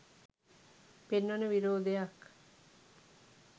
පෙන්වන විරෝධයක්.